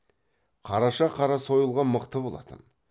қараша қара сойылға мықты болатын